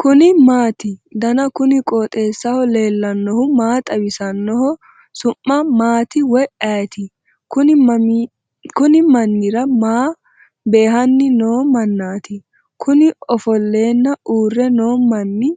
kuni maati ? danu kuni qooxeessaho leellannohu maa xawisanno su'mu maati woy ayeti ? kunni mannira maa beehanni noo mannati kuni ofollenna uurre noo manni